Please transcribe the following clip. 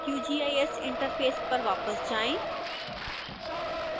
qgis interface पर वापस जाएं